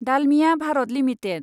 Dalmia Bharat limited